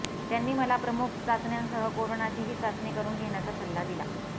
त्यांनी मला प्रमुख चाचण्यांसह करोनाचीही चाचणी करून घेण्याचा सल्ला दिला